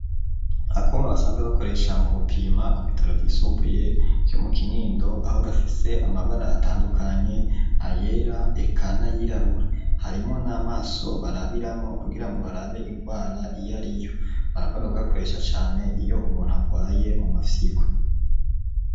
Akuma basanzwe bakoresha mu gupima ku bitaro vyisumbuye vyo mu kinindo aho gafise amabara atandukanye ayera eka nay'irabura harimo n'amaso barabiramo kugirango barabe indwara iyariyo, barakunda kugakoresha Cane iyo umuntu agwaye mu mafyigo.